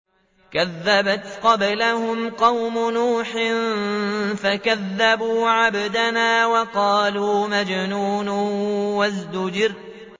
۞ كَذَّبَتْ قَبْلَهُمْ قَوْمُ نُوحٍ فَكَذَّبُوا عَبْدَنَا وَقَالُوا مَجْنُونٌ وَازْدُجِرَ